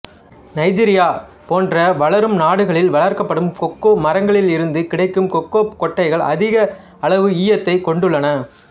Nigeria போன்ற வளரும் நாடுகளில் வளர்க்கப்படும் கொக்கோ மரங்களிலிருந்து கிடைக்கும் கொக்கோ கொட்டைகள் அதிக அளவு ஈயத்தைக் கொண்டுள்ளன